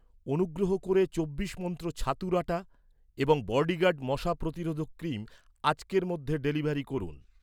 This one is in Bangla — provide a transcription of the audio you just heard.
অনুগ্রহ করে চব্বিশ মন্ত্র ছাতুর আটা এবং বডিগার্ড মশা প্রতিরোধক ক্রিম আজকের মধ্যে ডেলিভারি করুন।